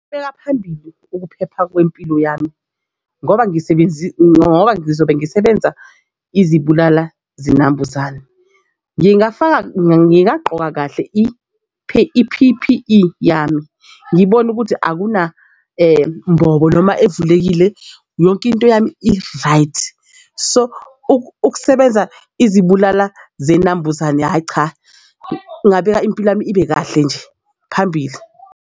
Ubeka phambili ukuphepha kwempilo yami ngoba ngisebenzisa ngoba ngizobe ngisebenza izibulala zinambuzane. Ngingafaka ngingaqoka kahle i-P_P_E yami ngibone ukuthi akuna mbobo noma evulekile. Yonke into yami i-right. So ukusebenza izibulala zinambuzane, hhayi cha ngabeka impilo yami ibe kahle nje phambili.